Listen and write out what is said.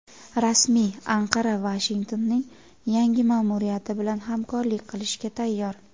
Rasmiy Anqara Vashingtonning yangi ma’muriyati bilan hamkorlik qilishga tayyor.